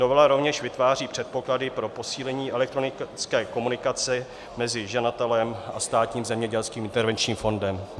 Novela rovněž vytváří předpoklady pro posílení elektronické komunikace mezi žadatelem a Státním zemědělským intervenčním fondem.